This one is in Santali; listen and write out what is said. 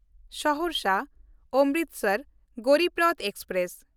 ᱥᱚᱦᱚᱨᱥᱟ–ᱚᱢᱨᱤᱥᱟᱨ ᱜᱚᱨᱤᱵ ᱨᱚᱛᱷ ᱮᱠᱥᱯᱨᱮᱥ